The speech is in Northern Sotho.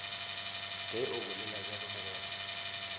ge o bolela bjalo mogwera